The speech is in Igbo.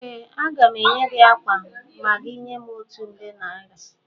Ee, aga m enye gị ákwà a ma ị nye m otu nde naira